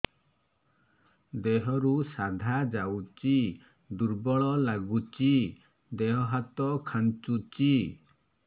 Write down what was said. ଦେହରୁ ସାଧା ଯାଉଚି ଦୁର୍ବଳ ଲାଗୁଚି ଦେହ ହାତ ଖାନ୍ଚୁଚି